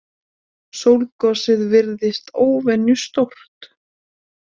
Sólgosið virðist óvenju stórt